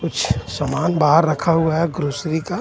कुछ समान बहार रखा हुआ हे ग्रोसरी का.